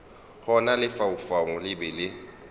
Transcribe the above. gona lefaufau le be le